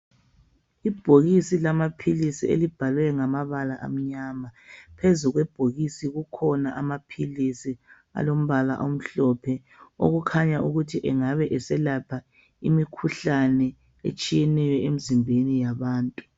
Ibhokisi lamaphilisi elibhalwe ngamabala amnyama phezu kwebhokisi kukhona amaphilisi alombala omhlophe okukhanya ukuthi engabe eselapha imikhuhlane etshiyeneyo emizimbeni yabantu.